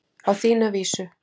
Á þína vísu.